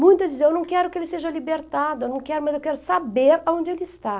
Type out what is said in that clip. Muitas diziam, eu não quero que ele seja libertado, eu não quero, mas eu quero saber onde ele está.